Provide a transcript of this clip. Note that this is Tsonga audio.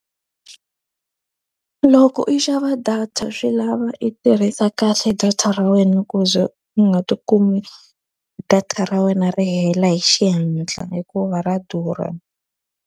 Loko u xava data swi lava i tirhisa kahle data ra wena ku ze u nga tikumi data ra wena ri hela hi xihatla hikuva ra durha.